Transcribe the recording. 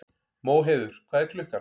Móheiður, hvað er klukkan?